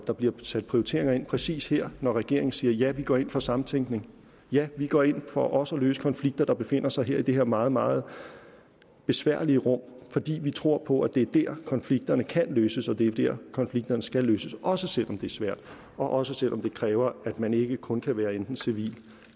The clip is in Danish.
der bliver sat prioriteringer ind præcis her når regeringen siger ja vi går ind for samtænkning ja vi går ind for også at løse konflikter der befinder sig i det her meget meget besværlige rum fordi vi tror på at det er der konflikterne kan løses og det er der konflikterne skal løses også selv om det er svært og også selv om det kræver at man ikke kun kan være der enten civilt